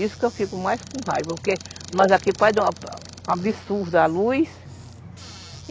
Isso que eu fico mais com raiva, porque nós aqui pode dar um absurdo a luz.